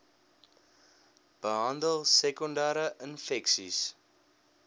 behandel sekondere infeksies